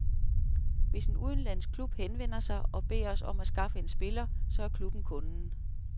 Hvis en udenlandsk klub henvender sig og beder os om at skaffe en spiller, så er klubben kunden.